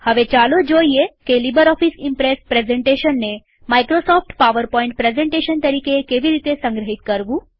હવે ચાલો જોઈએ કે લીબરઓફીસ ઈમ્પ્રેસ પ્રેઝન્ટેશનને માઈક્રોસોફ્ટ પાવરપોઈન્ટ પ્રેઝન્ટેશન તરીકે કેવી રીતે સંગ્રહિત કરવું